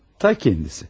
Tam özü.